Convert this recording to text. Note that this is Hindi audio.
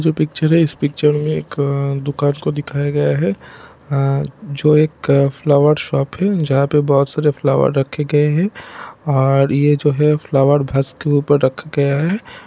जो पिक्चर है इस पिक्चर मे एक अ दुकान को दिखाया गया है आ जो एक फ्लावर शॉप है जहा पे बोहोत सारे फ्लावर रखे गए है और ये जो है फ्लावर भसक के ऊपर रखा गया है।